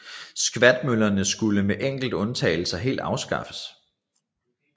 Skvatmøllerne skulle med enkelte undtagelser helt afskaffes